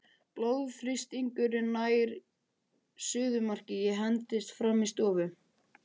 Blóðþrýstingurinn nær suðumarki, ég hendist fram í stofu.